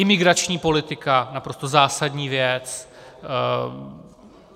Imigrační politika, naprosto zásadní věc.